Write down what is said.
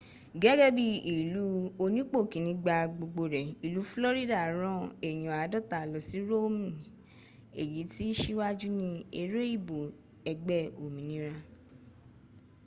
gẹ́gẹ́ bíi ilú onípòkíní-gba-gbogbo-rẹ̀ ìlú florida rán èyàn aadọ́ta lọsí romni èyí tìí síwájú ní eré ìbò ẹgbẹ́ òmìnir